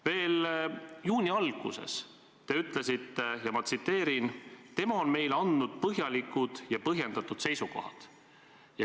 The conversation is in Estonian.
Veel juuni alguses te ütlesite : "Tema on meile andnud põhjalikud ja põhjendatud seisukohad.